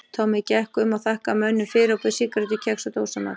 Tommi gekk um og þakkaði mönnum fyrir og bauð sígarettur kex og dósamat.